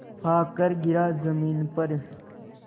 आकर गिरा ज़मीन पर